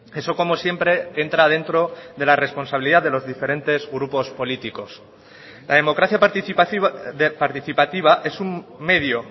eso como siempre entra dentro de la responsabilidad de los diferentes grupos políticos la democracia participativa es un medio